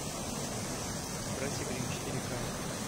братья гримм четыре ка